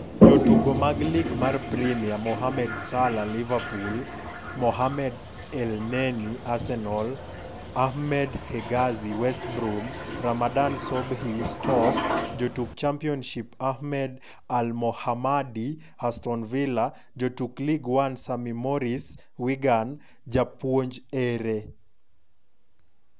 Jotugo mag lig mar Premia: Mohamed Salah (Liverpool), Mohamed Elneny (Arsenal), Ahmed Hegazy (West Brom), Ramadan Sobhi (Stoke), Jotuk Championship: Ahmed Elmohamady (Aston Villa) Jotuk League One: Sam Morsy (Wigan), Japuonj ere?